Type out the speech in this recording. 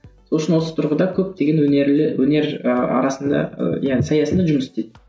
сол үшін осы тұрғыда көптеген өнерлі өнер ы арасында ы иә саясында жұмыс істейді